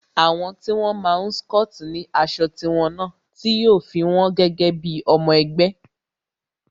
Àwọn tí wón máa n scoti ni aṣọ tí wón náà, tí yo fi won gẹ́gẹ́ bí ọmọ ẹgbẹ́